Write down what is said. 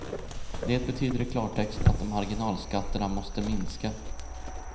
Det betyder i klartext att marginalskatterna måste minska.